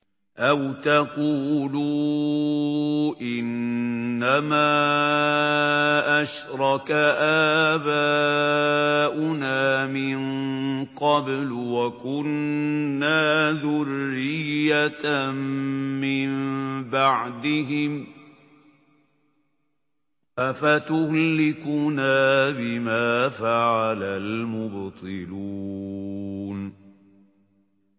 أَوْ تَقُولُوا إِنَّمَا أَشْرَكَ آبَاؤُنَا مِن قَبْلُ وَكُنَّا ذُرِّيَّةً مِّن بَعْدِهِمْ ۖ أَفَتُهْلِكُنَا بِمَا فَعَلَ الْمُبْطِلُونَ